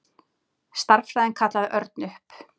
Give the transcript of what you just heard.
Stærðfræðin kallaði Örn upp.